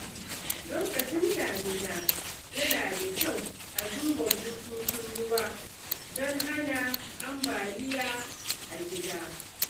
Lokacin damina, yana da kyau a duba bututun ruwa don hana ambaliya a gida.